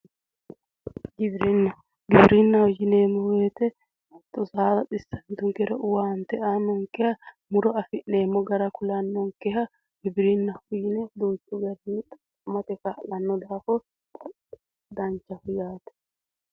Giwirinna giwirinna yineemmo woyte hatto saada xissantunkeha ikkiro owaante aannonkeha muro afi'neemmo raga kulannonkeha giwirinnaho yine duuchu garinni xaqqamate kaa'lannonke daafira danchaho.